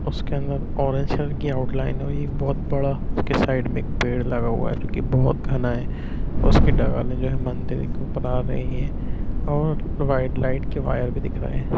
उसके अंदर orange colour की आउट लाइन है और एक बहुत बड़ा उसके साइड में एक पेड़ लगा हुआ है जो की बहुत घना है उसके जो है मंदिर एक ऊपर बना रहे है और वाइड लाइट के वायर भी दिख रहे हैं।